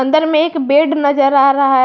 अंदर में एक बेड नजर आ रहा है।